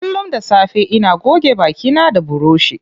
Kullum da safe ina goge baki na da buroshi.